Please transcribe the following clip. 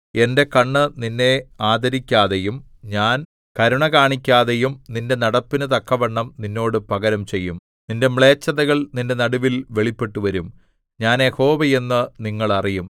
എന്റെ കണ്ണ് നിന്നെ ആദരിക്കാതെയും ഞാൻ കരുണ കാണിക്കാതെയും നിന്റെ നടപ്പിനു തക്കവണ്ണം നിന്നോട് പകരം ചെയ്യും നിന്റെ മ്ലേച്ഛതകൾ നിന്റെ നടുവിൽ വെളിപ്പെട്ടുവരും ഞാൻ യഹോവ എന്ന് നിങ്ങൾ അറിയും